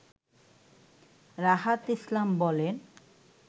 রাহাত ইসলাম বলেন